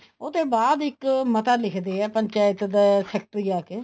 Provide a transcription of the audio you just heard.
ਉਹ ਤੇ ਬਾਅਦ ਇੱਕ ਮੱਤਾ ਲਿਖਦੇ ਹੈ ਪੰਚਾਇਤ ਦਾ ਸੈਕਟਰੀ ਆਕੇ